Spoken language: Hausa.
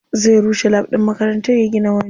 Zai rushe lab ɗin makarantar ya gina wani.